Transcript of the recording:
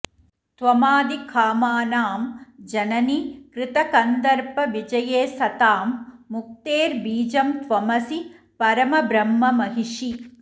त्वमादिः कामानां जननि कृतकन्दर्पविजये सतां मुक्तेर्बीजं त्वमसि परमब्रह्ममहिषी